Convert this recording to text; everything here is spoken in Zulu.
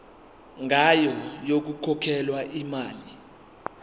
ngayo yokukhokhela imali